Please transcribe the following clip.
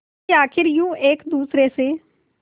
कि आखिर यूं एक दूसरे से